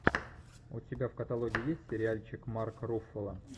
у тебя в каталоге есть сериальчик марк руффало